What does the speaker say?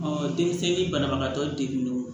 denmisɛnnin banabagatɔ degunnen